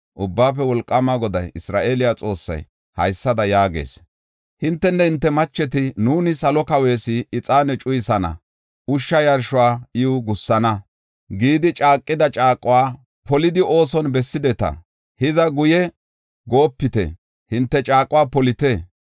Ubbaafe Wolqaama Goday, Isra7eele Xoossay, haysada yaagees; hintenne hinte macheti, ‘Nuuni Salo Kawees ixaane cuyisana; ushsha yarshuwa iw gussana’ gidi caaqida caaquwa polidi, ooson bessideta. Hiza, guye goopite; hinte caaquwa polite.